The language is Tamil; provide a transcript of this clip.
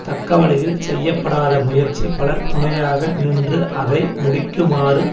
தக்கவழியில் செய்ய படாத முயற்சி பலர் துணையாக நின்று அதை முடிக்குமாறு